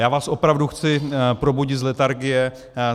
Já vás opravdu chci probudit z letargie.